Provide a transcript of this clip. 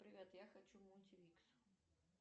привет я хочу мультивикс